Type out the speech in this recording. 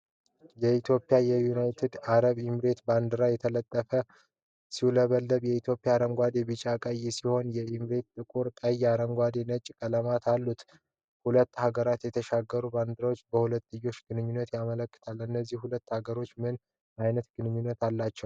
የኢትዮጵያና የዩናይትድ አረብ ኤሚሬትስ ባንዲራዎች ተጠላልፈው ሲውለበለቡ። ኢትዮጲያ አረንጓዴ፣ ቢጫና ቀይ ሲሆን ዩኤኢ ጥቁር፣ ቀይ፣ አረንጓዴና ነጭ ቀለማት አሉት። ሁለቱ ሀገሮች የተሻገሩ ባንዲራዎች በሁለትዮሽ ግንኙነትን ያመለክታሉ። እነዚህ ሁለት ሀገሮች ምን አይነት ግንኙነት አላቸው?